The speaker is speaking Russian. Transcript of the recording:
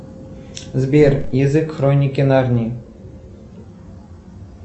сбер язык хроники нарнии